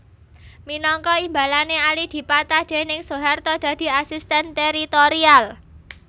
Minangka imbalané Ali dipatah déning Soeharto dadi Asisten Teritorial